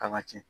Kan ka cɛn